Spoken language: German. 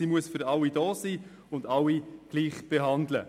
Sie muss für alle da sein und alle gleich behandeln.